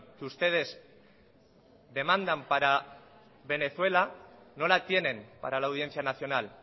que ustedes demandan para venezuela no la tienen para la audiencia nacional